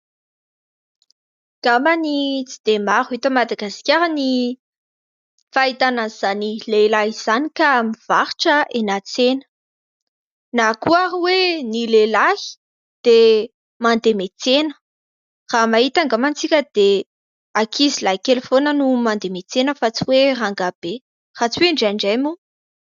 Angambany tsy dia maro eto Madagasikara ny fahitana an'izany lehilahy izany ka mivarotra eny an-tsena, na koa ary hoe ny lehilahy dia mandeha miantsena. Raha mahita angamba isika dia ankizilahy kely foana no mandeha miantsena fa tsy hoe rangahy be, raha tsy hoe indraindray moa.